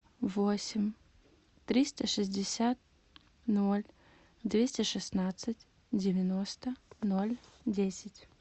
восемь триста шестьдесят ноль двести шестнадцать девяносто ноль десять